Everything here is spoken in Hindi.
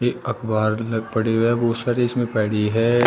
एक अखबार में पड़ी हुई है बहोत सारे इसमें पड़ी है।